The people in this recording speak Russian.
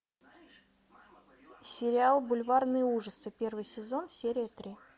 сериал бульварные ужасы первый сезон серия три